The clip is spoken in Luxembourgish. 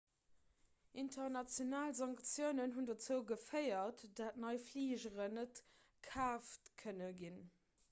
international sanktiounen hunn dozou geféiert datt nei fligeren net kaaft kënne ginn